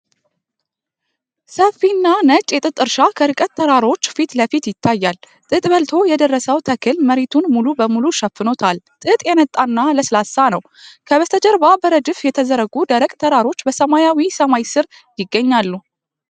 ሰፊና ነጭ የጥጥ እርሻ ከርቀት ተራሮች ፊት ለፊት ይታያል። ጥጥ በልቶ የደረሰው ተክል መሬቱን ሙሉ በሙሉ ሸፍኖታል፤ ጥጥ የነጣና ለስላሳ ነው። ከበስተጀርባ በረድፍ የተዘረጉ ደረቅ ተራሮች በሰማያዊ ሰማይ ስር ይገኛሉ።